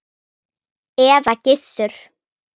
eða Gissur!